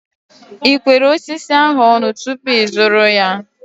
Ị kwere osisi ahu ọnụ tupu ịzụrụ ya?